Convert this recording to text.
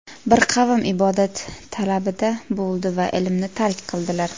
Bir qavm ibodat talabida bo‘ldi va ilmni tark qildilar.